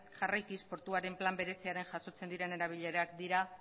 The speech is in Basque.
jarraikiz portuaren plan berezia jasotzen diren erabilerak dira